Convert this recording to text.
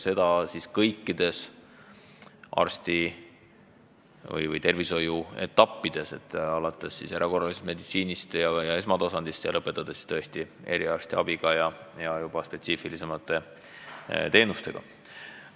Seda kõikides tervishoiu etappides, alates erakorralisest meditsiinist ja esmatasandist ning lõpetades eriarstiabiga ja juba spetsiifilisemate teenustega.